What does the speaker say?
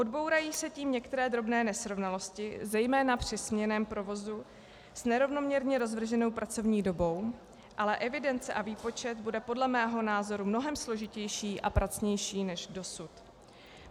Odbourají se tím některé drobné nesrovnalosti zejména při směnném provozu s nerovnoměrně rozvrženou pracovní dobou, ale evidence a výpočet bude podle mého názoru mnohem složitější a pracnější než dosud.